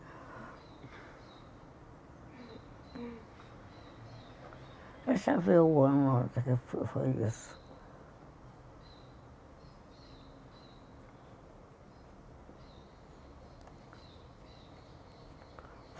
Deixa eu ver o ano que foi isso.